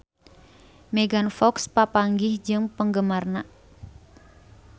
Megan Fox papanggih jeung penggemarna